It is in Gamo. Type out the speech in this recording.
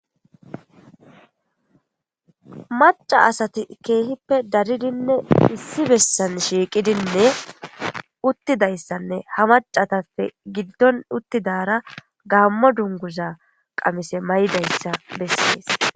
maca asati keehippe daridinne issi bessan shiiqidinne uttidayssanne ha macatappe giddon uttidara gaammo dunguza qamise may7dayssa bessees